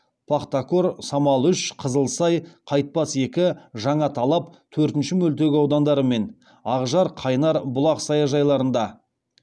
пахтакор самал үш қызылсай кайтпас екі жаңаталап төртінші мөлтек аудандары мен ақжар қайнар бұлақ саяжайларында